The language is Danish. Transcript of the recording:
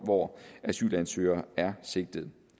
hvor asylansøgere er sigtet